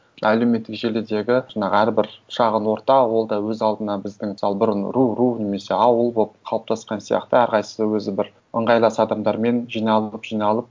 әлеуметтік желідегі жаңағы әрбір шағын орта ол да өз алдына біздің мысалы бұрын ру ру немесе ауыл болып қалыптасқан сияқты әрқайсысы өзі бір ыңғайлас адамдармен жиналып жиналып